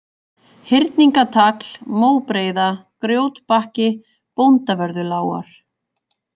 Hyrningatagl, Móbreiða, Grjótbakki, Bóndavörðulágar